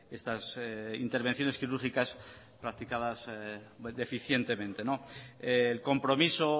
estas intervenciones quirúrgicas practicadas deficientemente el compromiso